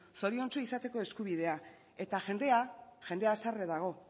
zoriontsu izateko eskubidea eta jendea haserre dago